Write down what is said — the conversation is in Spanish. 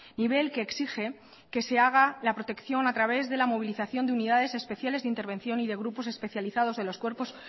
nivel que exige que se haga la protección a través de la movilización de unidades especiales de intervención y de grupos especializados de los cuerpos